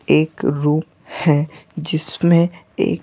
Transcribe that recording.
एक रूम है जिसमें ए--